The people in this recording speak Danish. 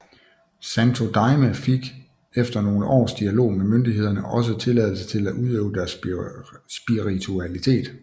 Santo Daime fik efter nogle års dialog med myndighederne også tilladelse til at udøve deres spiritualitet